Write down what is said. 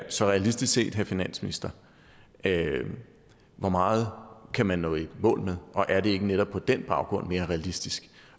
så realistisk set herre finansminister hvor meget kan man nå i mål med og er det ikke netop på den baggrund mere realistisk